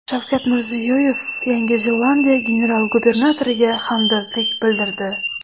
Shavkat Mirziyoyev Yangi Zelandiya general-gubernatoriga hamdardlik bildirdi.